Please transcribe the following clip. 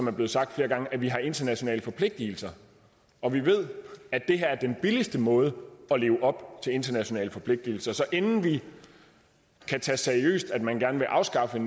er blevet sagt flere gange at vi har internationale forpligtelser og vi ved at det her er den billigste måde at leve op til internationale forpligtelser så inden vi kan tage seriøst at man gerne vil afskaffe